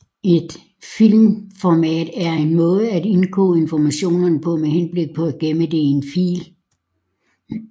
Et filformat er en måde at indkode information på med henblik på at gemme det i en fil